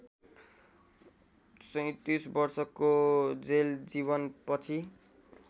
२७ वर्षको जेलजीवन पछि